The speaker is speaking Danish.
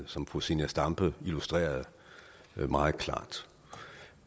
som fru zenia stampe illustrerede meget klart